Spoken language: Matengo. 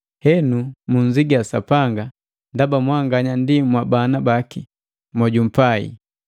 Henu mu nnziga Sapanga ndaba mwanganya ndi mwabana baki mojumpai.